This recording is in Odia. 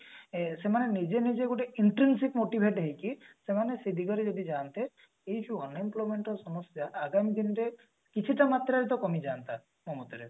ଅ ସେମାନେ ନିଜେ ନିଜେ ଗୋଟେ intermate motivated ହେଇକି ସେମାନେ ସେଇ ଦିଗରେ ଯଦି ଯାନ୍ତେ ଏଇ ଯୋଉ unemployment ର ସମସ୍ଯା ଆଗାମୀ ଦିନରେ କିଛିଟା ମାତ୍ରାରେ ତ କମି ଯାଆନ୍ତା ମୋ ମତରେ